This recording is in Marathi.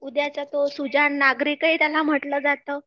उद्याचा तो सुजाण नागरिकही त्याला म्हटलं जातं